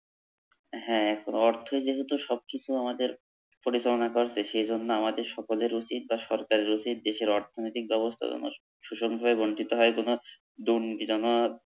হা অর্থই যেহেতু সবকিছু আমাদের পরিচালনা সে জন্য আমাদের সকলের উচিৎ বা সরকারের উচিৎ দেশের অর্থনৈতিক ব্যবস্থা যেন সুষমভাবে বন্টিত হয় কোনো দুর্নীতি যেন